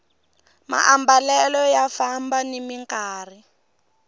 maambalelo ya famba nimi nkarhi